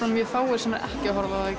mjög fáir sem ekki horfa á þá í